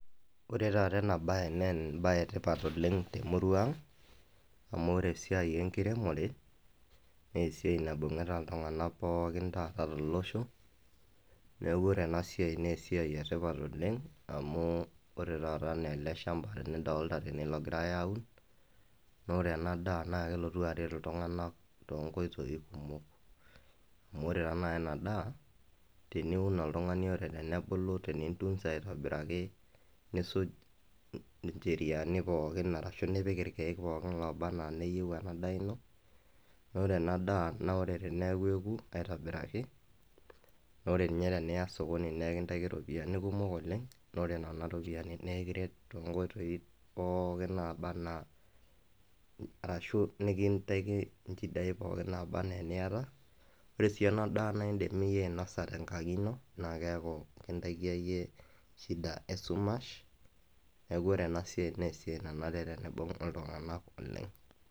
Ore taata ena baye nee emabaye e tipat oleng' te murua ang' amu ore esiai enkiremore nee esiai naibung'ita iltung'anak pookin taata tolosho. Neeku ore ena siai nee esiai e tipat oleng' amu ore taata nee ele shamba nidolta tene logirai aun, naa ore ena daa naake elotu aret iltung'anak too nkoitoi kumok amu ore taa nai ena daa teniun oltung'ani ore tenebulu tenintunza aitobiraki, nisuj ncheriani pookin arashu nipik irkeek pookin looba naa neyeu ena daa ino, naa ore daa naa ore teneeku eeku aitobiraki naa ore ninye teniya sokoni nekintaki ropiani kumok oleng', naa ore nena ropiani nekiret too nkoitoi pookin naaba naa arashu nekintaiki nchidai naaba naa eniyata. Ore sii ena daa naa iindim iyie ainasa tenkang' ino naake eeku kinatikia iyie shida esumash. Neeku ore ena siai nee esiai nanare teniibung' iltung'anak oleng'.